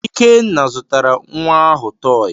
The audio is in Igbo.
Ikenna zụtara nwa ahụ tọọyị.